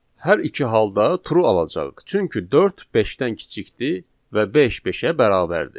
Hər iki halda true alacağıq, çünki dörd beşdən kiçikdir və beş beşə bərabərdir.